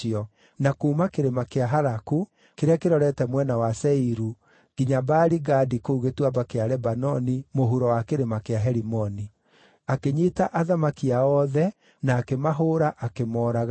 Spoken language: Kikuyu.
na kuuma kĩrĩma kĩa Halaku, kĩrĩa kĩrorete mwena wa Seiru, nginya Baali-Gadi kũu Gĩtuamba kĩa Lebanoni mũhuro wa kĩrĩma kĩa Herimoni. Akĩnyiita athamaki ao othe, na akĩmahũũra, akĩmooraga.